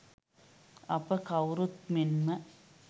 අප කවුරුත් මෙන්ම